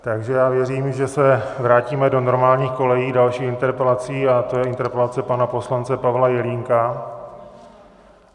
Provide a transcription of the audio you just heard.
Takže já věřím, že se vrátíme do normálních kolejí dalších interpelací, a to je interpelace pana poslance Pavla Jelínka.